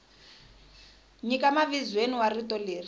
nyika mavizweni wa rito leri